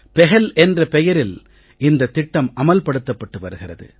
பஹல் என்ற பெயரில் இந்தத் திட்டம் அமல் படுத்தப்பட்டு வருகிறது